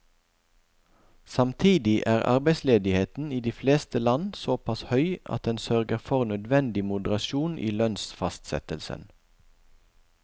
Samtidig er arbeidsledigheten i de fleste land såpass høy at den sørger for nødvendig moderasjon i lønnsfastsettelsen.